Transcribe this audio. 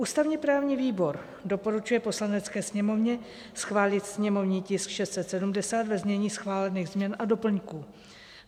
Ústavně-právní výbor doporučuje Poslanecké sněmovně schválit sněmovní tisk 670 ve znění schválených změn a doplňků.